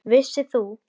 Vissir þú.